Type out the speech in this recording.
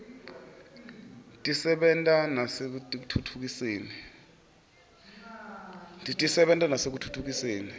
tisebenta nasekutfutfukiseni live letfu